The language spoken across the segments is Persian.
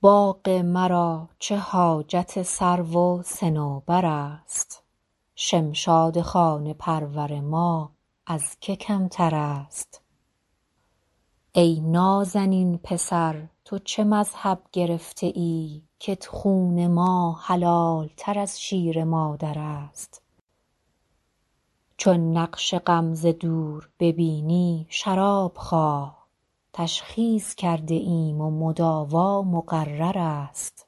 باغ مرا چه حاجت سرو و صنوبر است شمشاد خانه پرور ما از که کمتر است ای نازنین پسر تو چه مذهب گرفته ای کت خون ما حلال تر از شیر مادر است چون نقش غم ز دور ببینی شراب خواه تشخیص کرده ایم و مداوا مقرر است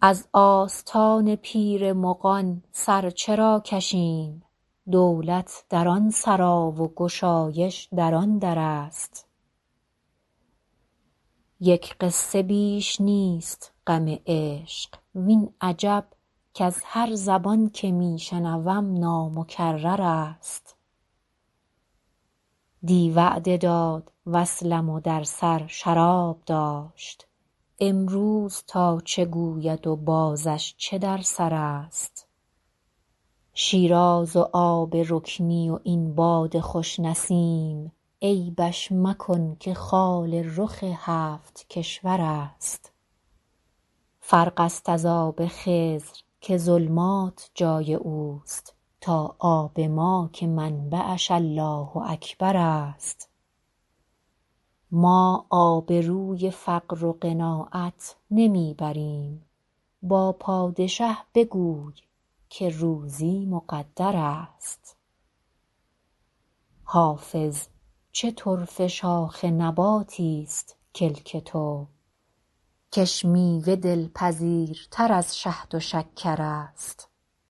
از آستان پیر مغان سر چرا کشیم دولت در آن سرا و گشایش در آن در است یک قصه بیش نیست غم عشق وین عجب کز هر زبان که می شنوم نامکرر است دی وعده داد وصلم و در سر شراب داشت امروز تا چه گوید و بازش چه در سر است شیراز و آب رکنی و این باد خوش نسیم عیبش مکن که خال رخ هفت کشور است فرق است از آب خضر که ظلمات جای او است تا آب ما که منبعش الله اکبر است ما آبروی فقر و قناعت نمی بریم با پادشه بگوی که روزی مقدر است حافظ چه طرفه شاخ نباتیست کلک تو کش میوه دلپذیرتر از شهد و شکر است